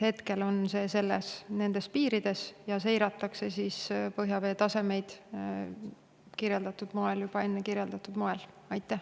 Hetkel on see nendes piirides ja seiratakse põhjavee tasemeid juba enne kirjeldatud moel.